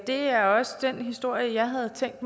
det er også den historie jeg havde tænkt